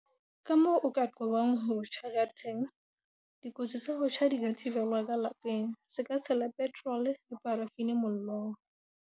Kamoo o ka qobang ho tjha kateng Dikotsi tsa ho tjha di ka thibelwa ka lapeng. Se ka tshela petrole le parafini mollong.